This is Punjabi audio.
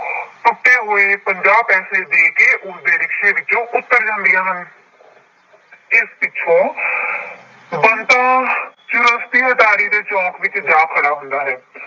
ਟੁੱਟੇ ਹੋਏ ਪੰਜਾਹ ਪੈਸੇ ਦੇ ਕੇ ਉਸਦੇ ਰਿਕਸ਼ੇ ਵਿੱਚੋਂ ਉੱਤਰ ਜਾਂਦੀਆਂ ਹਨ ਇਸ ਪਿੱਛੋਂ ਬੰਤਾ ਚੁਰਸਤੀ ਅਟਾਰੀ ਦੇ ਚੌਂਕ ਵਿੱਚ ਜਾ ਖੜਾ ਹੁੰਦਾ ਹੈ।